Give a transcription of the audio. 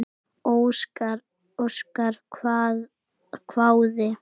Óskar hváði.